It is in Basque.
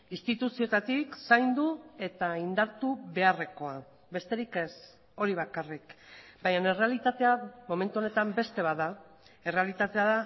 instituzioetatik zaindu eta indartu beharrekoa besterik ez hori bakarrik baina errealitatea momentu honetan beste bat da errealitatea